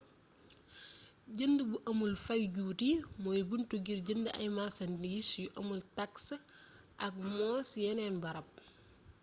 jënd bu amul fay juuti mooy bunt ngir jënd ay marsandiis yu amul taks aak mo ci yenn barab